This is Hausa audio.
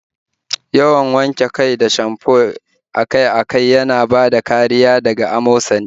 Wanke kai da shamfo akai-akai yana bada kariya daga amosali